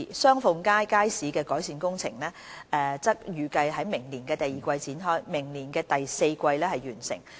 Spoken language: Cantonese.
雙鳳街街市的改善工程則預計於明年第二季開展，明年第四季完成。